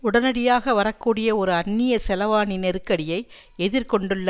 உடனடியாக வரக்கூடிய ஒரு அந்நிய செலாவணி நெருக்கடியை எதிர் கொண்டுள்ள